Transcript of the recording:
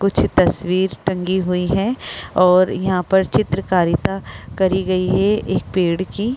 कुछ तस्वीर टंगी हुई है और यहां पर चित्रकारिता करी गई है एक पेड़ की।